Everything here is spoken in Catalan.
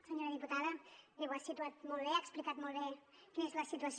senyora diputada ho ha situat molt bé ha explicat molt bé quina és la situació